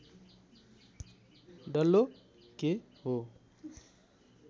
डल्लो के हो